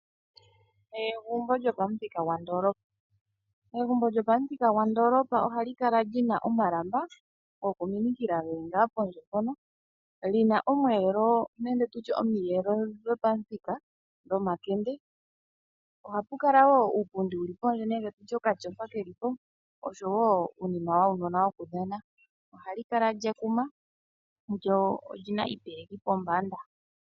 Egumbo lyopamuthika gwandoolopa egumbo lyopamuthika gwandoolopa ohali kala lyina omalamba gokuminikila geli pondje mpono lina omweelo nenge tutye omiyelo dhopamuthika dhomakende ohamu adhika wo uupundi wuli pondje nenge tutye okatyofa keli po oshowo uunima wuunona wulipo ohali kala lye kuma oshowo iipeleki pombanda.